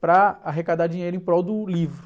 para arrecadar dinheiro em prol do livro.